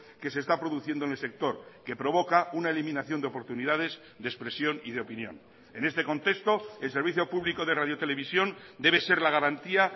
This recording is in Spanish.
que se está produciendo en el sector que provoca una eliminación de oportunidades de expresión y de opinión en este contexto el servicio público de radiotelevisión debe ser la garantía